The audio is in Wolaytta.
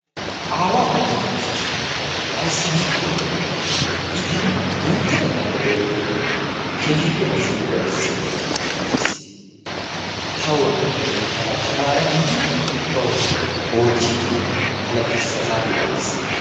Aawa ta iita dosays. ayssi giikko I tana guuttatettaappe doommidi keehippe ba siiquwa bessiiddi dichchis. ta oottoppa giidi tana tamaara giidi bawu oottidi tana dichchiis. ha saatiya gattiis.